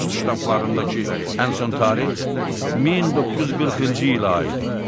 Poçt ştamplarındakı ən son tarix 1940-cı ilə aid idi.